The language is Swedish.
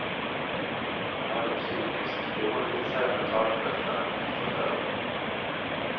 Jag mådde psykiskt dåligt, säger mentalskötaren i ett förhör.